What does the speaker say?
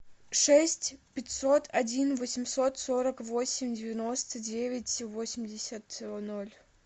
шесть пятьсот один восемьсот сорок восемь девяносто девять восемьдесят ноль